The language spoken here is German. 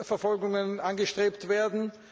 Verfolgungen angestrebt werden.